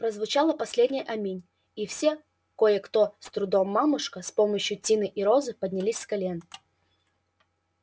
прозвучало последнее аминь и все кое-кто с трудом мамушка с помощью тины и розы поднялись с колен